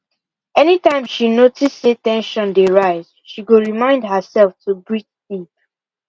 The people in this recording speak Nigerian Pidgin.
anytime she notice say ten sion dey rise she go remind herself to breathe deep